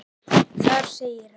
Þar segir hann